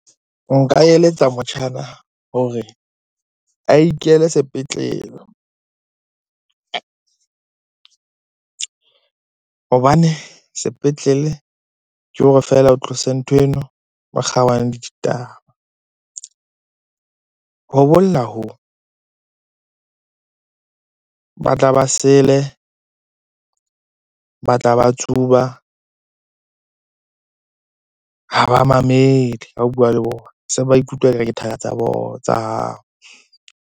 Nka eletsa motjhana hore a ikele sepetlele hobane sepetlele ke hore feela o tlose nthweno o kgaohane le ditaba. Ho bolla hoo, ba tla ba sele, ba tla ba tsuba, ha ba mamele ha o bua le bona. Se ba ikutlwa ekare ke thaka tsa bona, tsa hao.